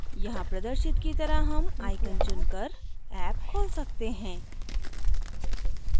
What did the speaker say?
यहाँ प्रदर्शित की तरह हम आइकन चुनकर ऍप खोल सकते हैं